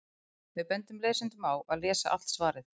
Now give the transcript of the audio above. Við bendum lesendum á að lesa allt svarið.